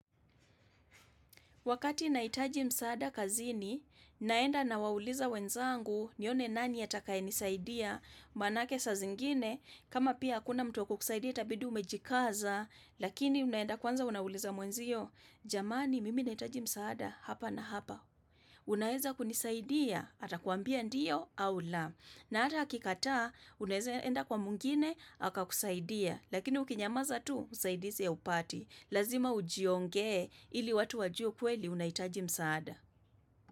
Wakati nahitaji msaada kazini, naenda nawauliza wenzangu nione nani atakaye nisaidia, manake sa zingine, kama pia hakuna mtu wa kukusaidia itabidi umejikaza, lakini unaenda kwanza unauliza mwenzio, jamani mimi nahitaji msaada hapa na hapa. Unaeza kunisaidia,? Atakuambia ndiyo au la, na ata akikataa, unaeza enda kwa mwingine, akakusaidia. Lakini ukinyamaza tu, usaidizi haupati. Lazima ujiongee, ili watu wajue kweli unahitaji msaada.